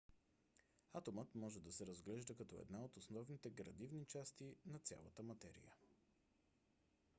атомът може да се разглежда като една от основните градивни части на цялата материя